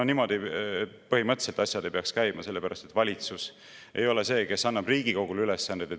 No niimoodi põhimõtteliselt asjad ei peaks käima, sellepärast et valitsus ei ole see, kes annab Riigikogule ülesandeid.